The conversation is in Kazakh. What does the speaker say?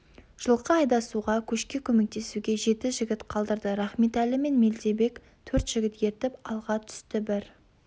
жылқы айдасуға көшке көмектесуге жеті жігіт қалдырды рахметәлі мен мелдебек төрт жігіт ертіп алға түсті бір